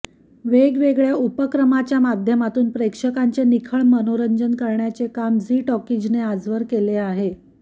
वेगवेगळ्या उपक्रमाच माध्यमातून प्रेक्षकांचे निखळ मनोरंजन करण्याचे काम झी टॉकीजने आजवर केले आहे